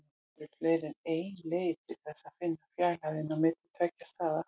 Það eru fleiri en ein leið til þess að finna fjarlægðina á milli tveggja staða.